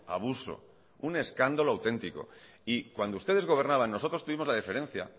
abuso un escándalo auténtico y cuando ustedes gobernaban nosotros tuvimos la deferencia